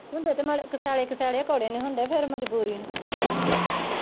ਹੁੰਦੇ ਤੇ ਮਾੜੇ ਕਸੇਲੇ ਕਸੇਲੇ ਆ ਕੌੜੇ ਨਹੀਂ ਹੁੰਦੇ ਫਿਰ ਮਜ਼ਬੂਰੀ ਨੂੰ